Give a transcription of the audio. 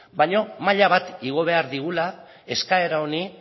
baina maila bat igo behar digula eskaera honi